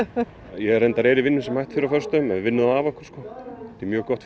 ég er reyndar í vinnu sem hætt fyrr á föstudögum við vinnum það af okkur sko þetta er mjög gott